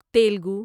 Telugu